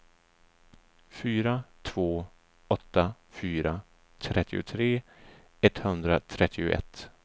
fyra två åtta fyra trettiotre etthundratrettioett